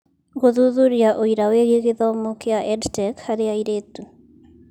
Gũthuthuria ũira wĩgiĩ gĩthomo kĩa EdTech harĩ airĩtu